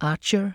Archer,